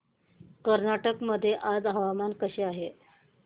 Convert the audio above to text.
कर्नाटक मध्ये आज हवामान कसे आहे